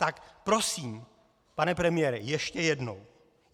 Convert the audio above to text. Tak prosím, pane premiére, ještě jednou.